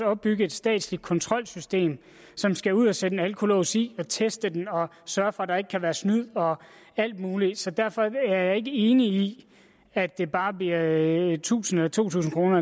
opbygge et statsligt kontrolsystem som skal ud og sætte en alkolås i og teste den og sørge for at der ikke kan være snyd og alt muligt så derfor er jeg ikke enig i at det bare bliver tusind eller to tusind kroner